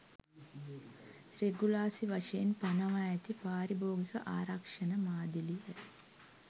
රෙගුලාසි වශයෙන් පනවා ඇති පාරිභෝගික ආරක්ෂණ මාදිලිය.